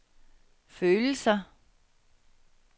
følelser